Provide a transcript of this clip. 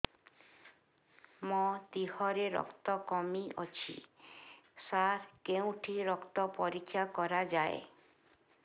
ମୋ ଦିହରେ ରକ୍ତ କମି ଅଛି ସାର କେଉଁଠି ରକ୍ତ ପରୀକ୍ଷା କରାଯାଏ